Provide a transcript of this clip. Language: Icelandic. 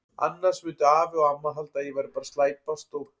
Annars myndu afi og amma halda að ég væri bara að slæpast og.